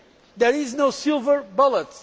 There is no silver bullet.